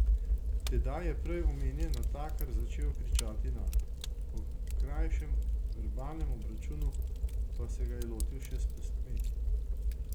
Tedaj je prej omenjen natakar začel kričati nanj, po krajšem verbalnem obračunu pa se ga je lotil še s pestmi.